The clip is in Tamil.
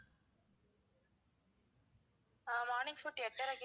ah morning food எட்டரைக்கு